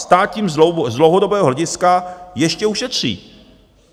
Stát tím z dlouhodobého hlediska ještě ušetří.